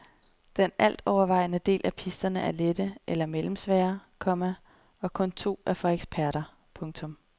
Den alt overvejende del af pisterne er lette eller mellemsvære, komma og kun to er for eksperter. punktum